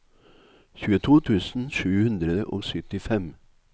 tjueto tusen sju hundre og syttifem